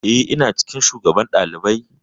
Eh, ina cikin shugaban ɗalibai.